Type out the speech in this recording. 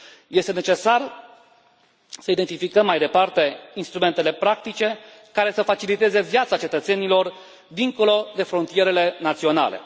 Este necesar să identificăm mai departe instrumentele practice, care să faciliteze viața cetățenilor dincolo de frontierele naționale.